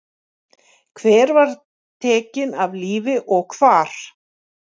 Hver var tekin af lífi og hvar?